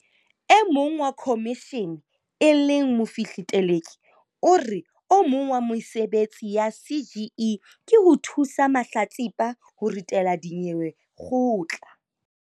E mong wa khomishene e leng Mofihli Teleki o re o mong wa mesebetsi ya CGE ke ho thusa mahlatsipa ho ritela dinyewe kgotla.